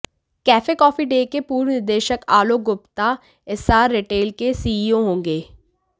cafe Coffee Day के पूर्व निदेशक आलोक गुप्ता एस्सार रिटेल के सीईओ होंगे